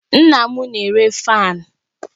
Nna m na-ere fáan